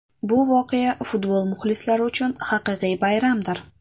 Bu voqea futbol muxlislari uchun haqiqiy bayramdir.